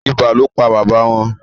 ibà ló pá baba wón.